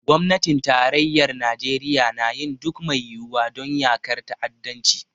Gwamnatin tarayyar Najeriya na yin duk mai yiwuwa don yaƙar ta'addanci.